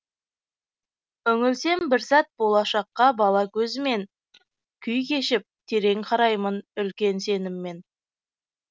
үңілсем бір сәт болашаққа бала көзімен күй кешіп терең қараймын үлкен сеніммен